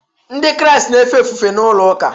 Ndị Kraịst na-efe ofufe na ụlọụka